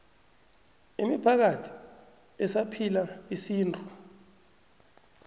imiphakathi esaphila isintu